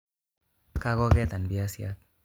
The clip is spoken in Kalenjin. Kakoketan biasiat